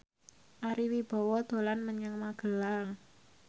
Ari Wibowo dolan menyang Magelang